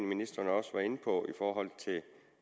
ministeren også var inde på et